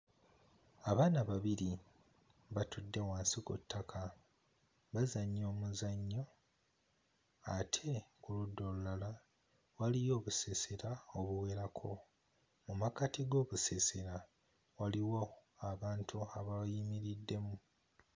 Abaana babiri batudde wansi ku ttaka bazannya omuzannyo ate ku ludda olulala waliyo obusiisira obuwerako mu makkati g'obusiisira waliwo abantu abayimiriddemu.